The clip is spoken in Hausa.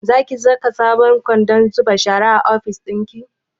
Zaki saka sabon kwandon zuba shara a ofis ɗinki?